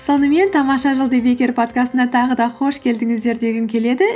сонымен тамаша жыл подкастына тағы да қош келдіңіздер дегім келеді